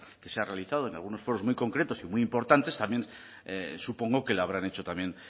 que se ha realizado en algunos foros muy concretos y muy importantes también supongo que lo habrán hecho también